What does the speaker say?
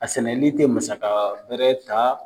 A sɛnɛli tɛ masaka wɛrɛ ta.